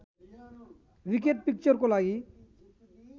wicked पिक्चरको लागि